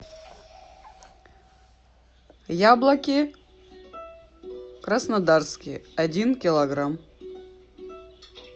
яблоки краснодарские один килограмм